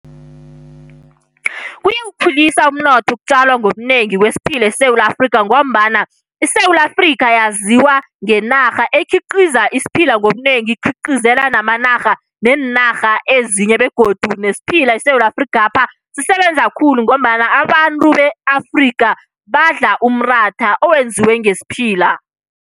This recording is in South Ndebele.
Kuyawukhulisa umnotho ukutjalwa ngobunengi kwesiphila eSewula Afrika ngombana iSewula aAfrika yaziwa ngenarha ekhiqiza isiphila ngobunengi, ikhiqizela neenarha ezinye. Begodu nesiphila eSewula Afrikapha sisebenza khulu ngombana abantu be Afrika badla umratha owenziwe ngesiphila.